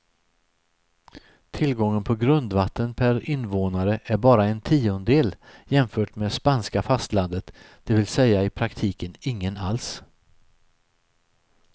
Tillgången på grundvatten per invånare är bara en tiondel jämfört med spanska fastlandet, det vill säga i praktiken ingen alls.